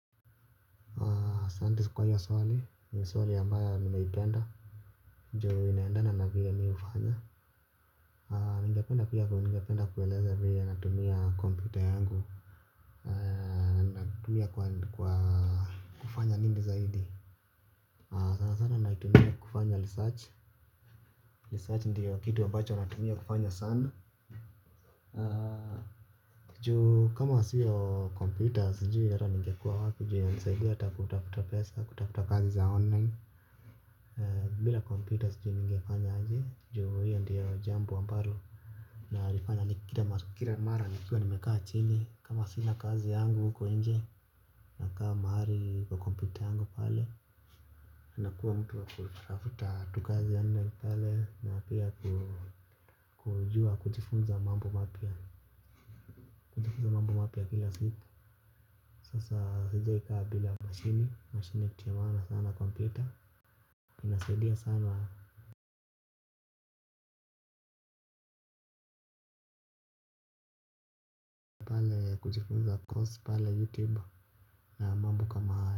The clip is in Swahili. Asante kwa hiyo swali, ni swali ambayo nimeipenda ndio inaendana na vile mi hufanya ningependa pia kueleza venye natumia kompyuta yangu tumia kwa kufanya nini zaidi sana sana naitumia kufanya research, research ndiyo kitu wabacho natumia kufanya sana njoo kama siyo computers sijui hata ninge kuwa wapi juu inanisaidia kutafuta pesa kutafuta kazi za online. Bila computer sijui nigefanya aje juu hiyo ndiyo jambo ambalo na alifanya ni kila mara nikiwa nimekaa chini kama sina kazi yangu uko nje nakaa mahali kwa kompyuta yangu pale nakua mtu wa kutafuta kazi online pale na pia kujua kujifunza mambo mapya kujifunza mambo mapya kila siku sasa sijaikaa bila mashini mashini ni kitu ya maana sana kompyuta pale kujifunza course pale youtube na mambo kama hayo.